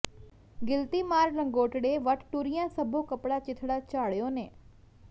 ਗਿਲਤੀ ਮਾਰ ਲੰਗੋਟੜੇ ਵਟ ਟੁਰੀਆਂ ਸਭੋ ਕਪੜਾ ਚਿਥੜਾ ਝਾੜਿਉ ਨੇ